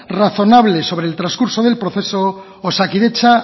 razonable sobre el transcurso del proceso osakidetza